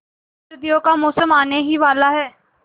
सर्दियों का मौसम आने ही वाला है